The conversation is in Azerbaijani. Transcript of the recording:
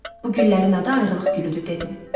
Bu güllərin adı ayrılıq gülüdür dedim.